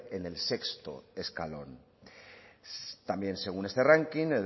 en el sexto escalón también según este ranking